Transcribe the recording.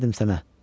Verərdim sənə.